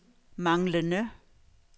manglende